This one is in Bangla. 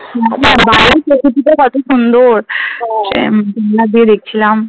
বাইরের প্রকৃতিটা কত সুন্দর। দেখছিলাম।